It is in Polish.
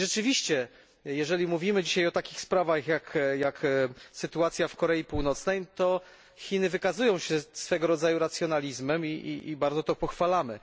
I rzeczywiście, jeżeli mówimy o takich sprawach, jak sytuacja w Korei Północnej, to Chiny wykazują się swego rodzaju racjonalizmem i bardzo to pochwalamy.